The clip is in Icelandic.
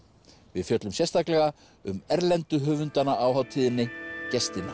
við fjöllum sérstaklega um erlendu höfundana á hátíðinni gestina